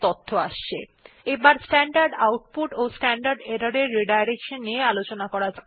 এবার দেখে নেওয়া যাক কিভাবে স্ট্যান্ডার্ড আউটপুট এবং স্ট্যান্ডার্ড এরর পুননির্দেশনা করা যায়